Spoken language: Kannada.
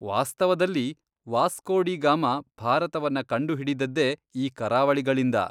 ವಾಸ್ತವದಲ್ಲಿ, ವಾಸ್ಕೋ ಡಿ ಗಾಮ ಭಾರತವನ್ನ ಕಂಡುಹಿಡಿದದ್ದೇ ಈ ಕರಾವಳಿಗಳಿಂದ.